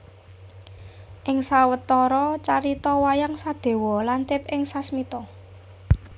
Ing sawetara carita wayang Sadéwa lantip ing sasmita